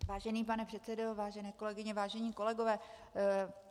Vážený pane předsedo, vážené kolegyně, vážení kolegové.